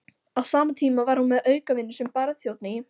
Á sama tíma var hún með aukavinnu sem barþjónn í